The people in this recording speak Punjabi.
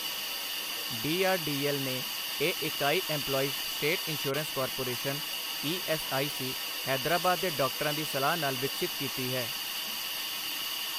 ਡੀਆਰਡੀਐੱਲ ਨੇ ਇਹ ਇਕਾਈ Employees State Insurance Corporation ESIC, Hyderabad ਦੇ ਡਾਕਟਰਾਂ ਦੀ ਸਲਾਹ ਨਾਲ ਵਿਕਸਿਤ ਕੀਤੀ ਹੈ।